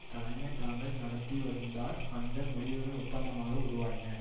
தலைமை தாங்கி நடத்தி வந்தார் அந்த முடிவுகள் ஒப்பந்தமாக உருவாயின